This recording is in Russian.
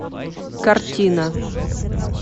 картина